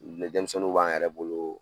denmisɛnninw b'an yɛrɛ bolo